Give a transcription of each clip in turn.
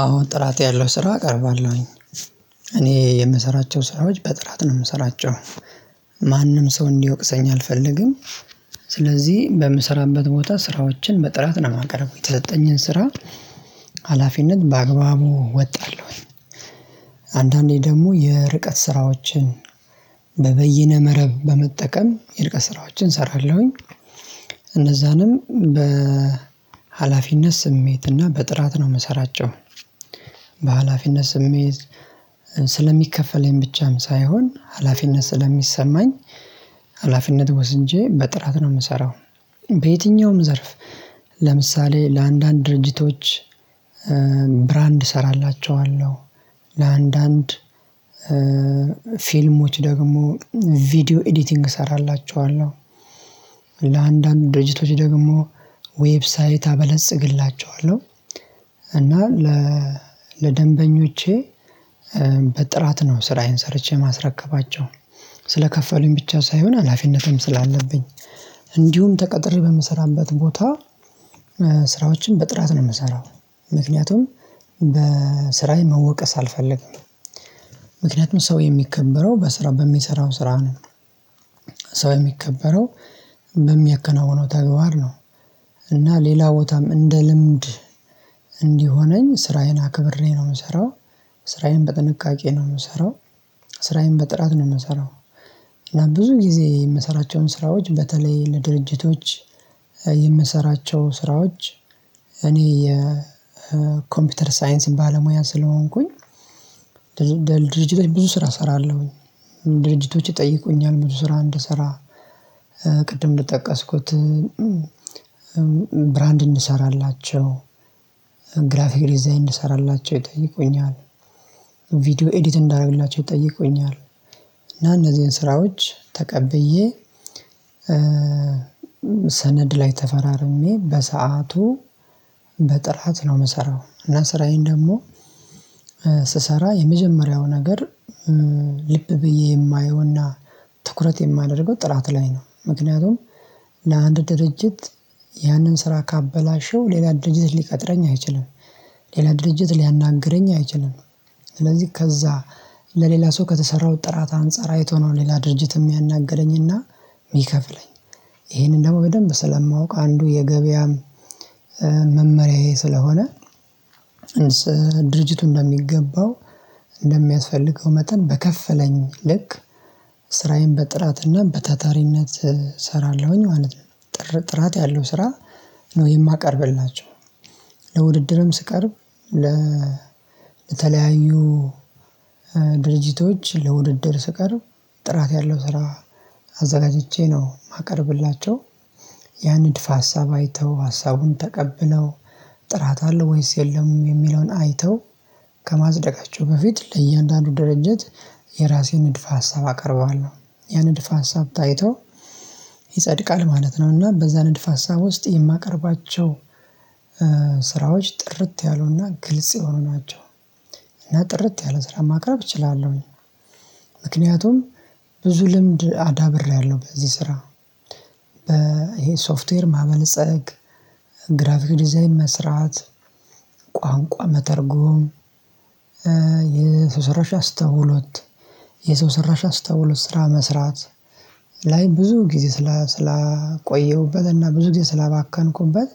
አዎ ጥራት ያለው ስራ እቀርባለሁኝ። እኔ የምሰራቸው ስራዎች በጥራት ነው የምሰራቸው። ማንም ሰው እንዲወቅሰኝ አልፈልግም። ስለዚህ በምሰራበት ቦታ ስራዎችን በጥራት ነው የማቀርበው የተሰጠኝን ስራ ሀላፊነት በአግባቡ እወጣለሁኝ። አንዳንዴ ደግሞ የርቀት ስራዎችን። በበይነ መረብ በመጠቀም የርቀት ስራዎችን እሰራለሁኝ። እነዛንም በሃላፊነት ስሜት እና በጥራት ነው የምሰራቸው። በሃላፊነት ስሜት ስለሚከፈለኝ ብቻም ሳይሆን ሀላፊነት ስለሚሰማኝ። ሀላፊነት ወስጄ በጥራት ነው የምሰራው። በየትኛውም ዘርፍ። ለምሳሌ ለአንዳንድ ድርጅቶች። ብራንድ እሰራላችኋለሁ። ለአንዳንድ ፊልሞች ደግሞ ቪዲዮ ኤዲቲንግ እሰራላችኋለሁ። ለአንዳንድ ድርጅቶች ደግሞ ዌብሳይት አበለጽግላቸኋለሁ። እና ለደንበኞቼ በጥራት ነው ስራዬን ሰርቼ የማስረክባቸው። ስለከፈሉኝ ብቻ ሳይሆን ሀላፊነትም ስላለብኝ። እንዲሁም ተቀጥሬ በምሰራበት ቦታ። ስራዎችን በጥራት ነው የምሰራው። ምክንያቱም በስራዬ መወቀስ አልፈልገም ሰው የሚከበረው በስራው በሚሰራው ስራ ነው። ሰው የሚከበረው በሚያከናውነው ተግባር ነው። እና ሌላ ቦታም እንደ ልምድ። እንዲሆነኝ ስራዬን አክብሬ ነው የምሰራው። ስራዬን በጥንቃቄ ነው የምሰራው። ስራዬን በጥራት ነው የምሰራው። እና ብዙ ጊዜ የምሰራቸውን ስራዎች በተለይ ለድርጅቶች የምሰራቸው ስራዎች እኔ የኮምፒተር ሳይንስ ባለሙያ ስለሆንኩኝ። ድርጅቶች ብዙ ስራ እሰራለሁኘ። ድርጅቶች ይጠይቁኛል ብዙ ስራ እንድሰራ። ቅድም እንደጠቀስኩት። ብራንድ እንድሰራላቸው ግራፊክ ዲዛይን እንድሰራላቸው ይጠይቁኛል። ቪዲዮ ኤዲት እንዳረግላቸው ይጠይቁኛል። እና እነዚህን ስራዎች ተቀብዬ። ሰነድ ላይ ተፈራርሜ በሰአቱ በጥራት ነው የምሰራው። እና ስራዬን ደግሞ ስሰራ የመጀመሪያው ነገር። ልብ ብዬ የማየውና ትኩረት የማደርገው ጥራት ላይ ነው። ምክንያቱም ለአንድ ድርጅት ያንን ስራ ካበላሸው ሌላ ድርጅት ሊቀጥረኝ አይችልም። ሌላ ድርጅት ሊያናግረኝ አይችልም። ስለዚህ ከዛ ለሌላ ሰው ከተሰራው ጥራት አንፃር አይቶ ነው ሌላ ድርጅት የሚያናግረኝና የሚከፍለኝ። ይሄንን ደግሞ በደንብ ስለማውቅ አንዱ የገበያም መመሪያዬ ስለሆነ። ድርጅቱ እንደሚገባው እንደሚያስፈልገው መጠን በከፈለኝ ልክ ስራዬን በጥራትና በታታሪነት እሰራለሁኝ። ማለት ጥራት ያለው ስራ ነው የማቀርብላቸው። ለውድድርም ስቀርብ ለ ለተለያዩ ድርጅቶች ለውድድር ስቀርብ ጥራት ያለው ስራ አዘጋጅቼ ነው የማቀርብላቸው። ያ ንድፍ ሀሳብ አይተው ሀሳቡን ተቀብለው ጥራት አለው ወይስ የለም የሚለውን አይተው። ከማጽደቃቸው በፊት ለእያንዳንዱ ድርጅት የራሴን ንድፍ ሀሳብ አቀርባለሁ። ያ ንድፍ ሀሳብ ታይቶ ይጸድቃል ማለት ነው። እና በዛ ንድፍ ሀሳብ ውስጥ የማቀርባቸው ስራዎች ጥርት ያሉና ግልጽ የሆኑ ናቸው። እና ጥርት ያለ ስራ ማቅረብ እችላለሁኝ። ምክንያቱም ብዙ ልምድ አዳብሬያለሁ በዚህ ስራ። ይሄ ሶፍትዌር ማበልፀግ ግራፊክ ዲዛይን መስራት ቋንቋ መተርጎም የሰው ሰራሽ አስተውሎት። የሰው ሰራሽ አስተውሎት ስራ መስራት። ላይ ብዙ ጊዜ ስላ ስላቆየሁበት እና ብዙ ጊዜ ስላባከንኩበት።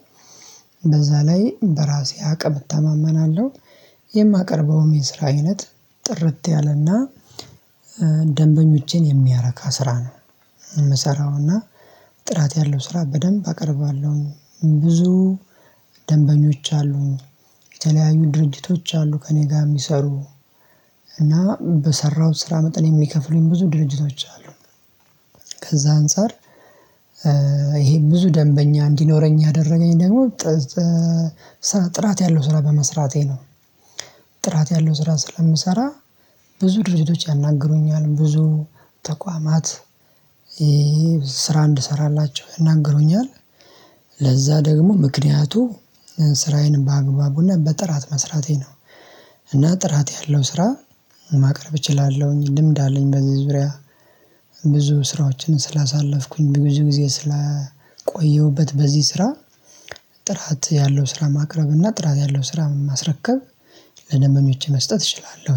በዛ ላይ በራሴ አቅም እተማመናለሁ። የማቀርበውም የስራ አይነት ጥርት ያለና ደንበኞቼን የሚያረካ ስራ ነው። የምሰራው እና ጥራት ያለው ስራ በደንብ አቀርባለሁኝ። ብዙ ደንበኞች አሉኝ። የተለያዩ ድርጅቶች አሉ ከእኔ ጋር የሚሰሩ። እና በሰራሁት ስራ መጠን የሚከፍሉኝ ብዙ ድርጅቶች አሉ። ከዛ አንፃር ይሄ ብዙ ደንበኛ እንዲኖረኝ ያደረገኝ ደግሞ ጥራት ያለው ስራ በመስራቴ ነው። ጥራት ያለው ስራ ስለምሰራ ብዙ ድርጅቶች ያናግሩኛል ብዙ ተቋማት ይሄ ስራ እንድሰራላቸው ይናገሩኛል። ለዛ ደግሞ ምክንያቱ ስራዬን በአግባቡና በጥራት መስራቴ ነው። እና ጥራት ያለው ስራ ማቅረብ እችላለሁኝ ልምድ አለኝ በዚህ ዙሪያ። ብዙ ስራዎችን ስላሳለፍኩኝ ብዙ ጊዜ ስለቆየሁበት በዚህ ስራ። ጥራት ያለው ስራ ማቅረብ እና ጥራት ያለው ስራ ማስረከብ ለደንበኞቼ መስጠት እችላለሁ